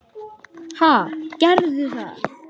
Ha, gerðu það.